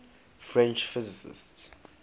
french physicists